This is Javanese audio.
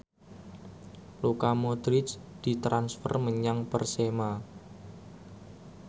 Luka Modric ditransfer menyang Persema